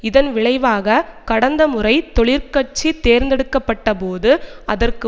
இதன் விளைவாக கடந்த முறை தொழிற்கட்சி தேர்ந்தெடுக்க பட்ட போது அதற்கு